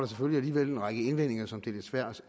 selvfølgelig en række indvendinger som det er lidt svært